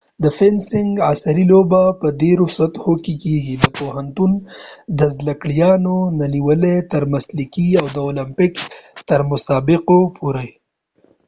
د فینسنګ عصری لوبه په ډیرو سطحو کېږی د پوهنتون د زدکړيالانو نه نیولی تر مسلکې او د اولمپک تر مسابقو پورې